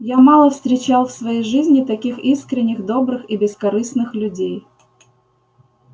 я мало встречал в своей жизни таких искренних добрых и бескорыстных людей